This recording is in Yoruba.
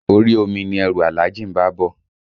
Orí omi ni ẹrù Alhaji ń bá á bọ̀